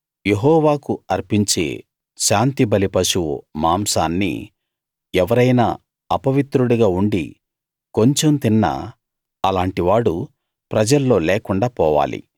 యెహోవాకు అర్పించే శాంతిబలి పశువు మాంసాన్ని ఎవరైనా అపవిత్రుడిగా ఉండి కొంచెం తిన్నా అలాంటి వాడు ప్రజల్లో లేకుండా పోవాలి